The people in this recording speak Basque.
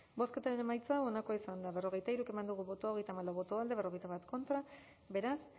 bozketaren emaitza onako izan da hirurogeita hamabost eman dugu bozka hogeita hamalau boto alde cuarenta y uno contra beraz